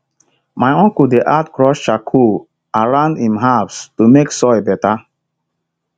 my uncle dey add crushed charcoal around im herbs to make soil better